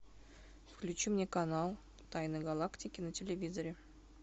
включи мне канал тайны галактики на телевизоре